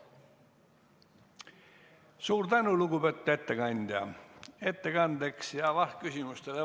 Suur tänu, lugupeetud ettekandja!